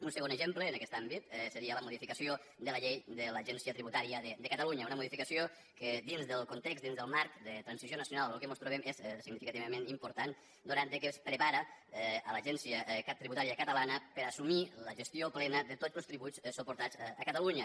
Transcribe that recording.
un segon exemple en aquest àmbit seria la modificació de la llei de l’agència tributària de catalunya una modificació que dins del context dins del marc de transició nacional en què mos trobem és significativament important atès que es prepara l’agència tributària catalana per assumir la gestió plena de tots els tributs suportats a catalunya